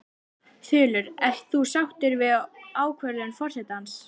Þulur: Ert þú sáttur við ákvörðun forsetans?